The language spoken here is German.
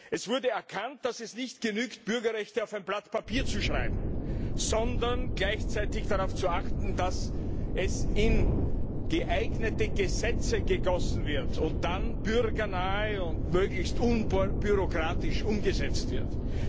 Es wurde erkannt, dass es nicht genügt, Bürgerrechte auf ein Blatt Papier zu schreiben, sondern dass gleichzeitig darauf zu achten ist, dass sie in geeignete Gesetze gegossen werden und dann bürgernah und möglichst unbürokratisch umgesetzt werden.